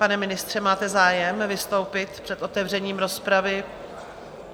Pane ministře, máte zájem vystoupit před otevřením rozpravy?